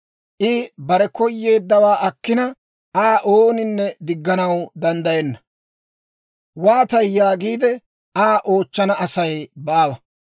I bare koyeeddawaa akkina, Aa ooninne digganaw danddayenna. ‹Waatay?› yaagiide Aa oochchana Asay baawa.